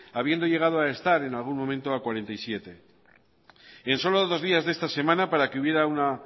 habiendo llegado a estar en algún momento a cuarenta y siete en solo dos días de esta semana para que hubiera una